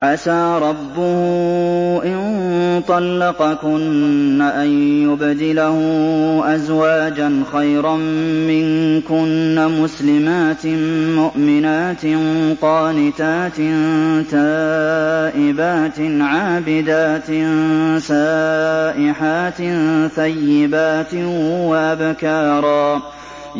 عَسَىٰ رَبُّهُ إِن طَلَّقَكُنَّ أَن يُبْدِلَهُ أَزْوَاجًا خَيْرًا مِّنكُنَّ مُسْلِمَاتٍ مُّؤْمِنَاتٍ قَانِتَاتٍ تَائِبَاتٍ عَابِدَاتٍ سَائِحَاتٍ ثَيِّبَاتٍ وَأَبْكَارًا